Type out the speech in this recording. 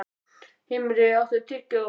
Himri, áttu tyggjó?